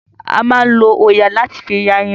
A máa ń lọ òòyà láti fi ya irun.